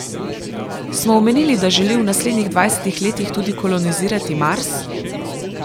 Smo omenili, da želi v naslednjih dvajsetih letih tudi kolonizirati Mars?